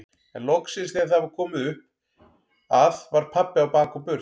En loksins þegar það var komið upp að var pabbi á bak og burt.